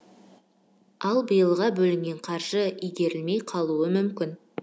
ал биылға бөлінген қаржы игерілмей қалуы мүмкін